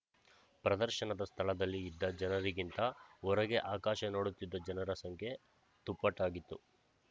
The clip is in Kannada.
ಪ್ರದರ್ಶನದ ಸ್ಥಳದಲ್ಲಿ ಇದ್ದ ಜನರಗಿಂತ ಹೊರಗೆ ಆಕಾಶ ನೋಡುತ್ತಿದ್ದ ಜನರ ಸಂಖ್ಯೆ ದುಪ್ಪಟ್ಟಾಗಿತ್ತು